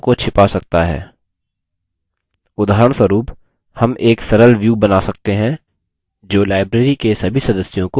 उदाहरणस्वरुप हम एक सरल व्यू बना सकते हैं जो library के सभी सदस्यों को सूचीबद्ध करेगा